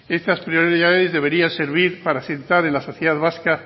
estas prioridades deberían servir para asentar en la sociedad vasca